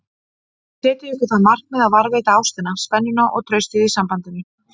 Setjið ykkur það markmið að varðveita ástina, spennuna og traustið í sambandinu